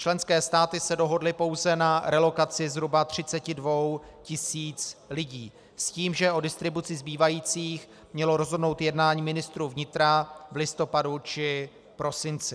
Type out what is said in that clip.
Členské státy se dohodly pouze na relokaci zhruba 32 tisíc lidí s tím, že o distribuci zbývajících mělo rozhodnout jednání ministrů vnitra v listopadu či prosinci.